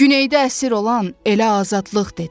Güneyda əsir olan elə azadlıq dedim.